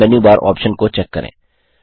अब menu bar option को check करें